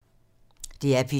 DR P2